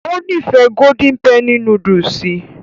Ó nífẹ̀ẹ́ golden penny núdúsì